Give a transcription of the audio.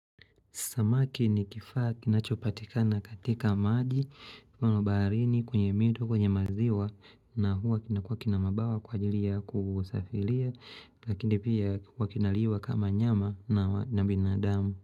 Samaki ni kifaa kinachopatikana katika maji mfano baharini, kwenye mito, kwenye maziwa na huwa kinakuwa kina mabawa kwa ajili ya kusafiria lakini pia huwa kinaliwa kama nyama na binadamu.